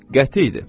Qəti idi.